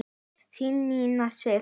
Þín Nína Sif.